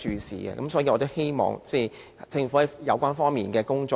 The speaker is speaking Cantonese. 所以，我希望政府加強有關方面的工作。